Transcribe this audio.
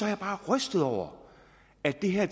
jeg bare er rystet over at det her